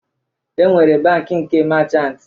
E nwere bankị nke machant